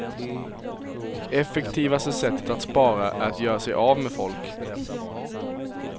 Och effektivaste sättet att spara är att göra sig av med folk.